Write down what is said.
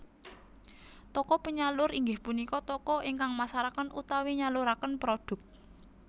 Toko penyalur inggih punika toko ingkang masaraken utawi nyaluraken prodhuk